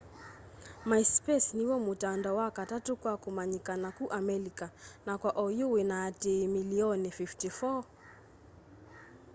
myspace niw'o mutandao wa katatu kwa kumanyikana ku amelika na kwa oyu wina aatiii milioni 54